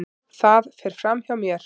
Það fer fram hjá mér.